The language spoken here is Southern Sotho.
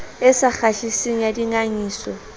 e sa kgahliseng ya dingangisano